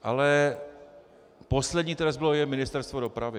Ale poslední, které zbylo je Ministerstvo dopravy.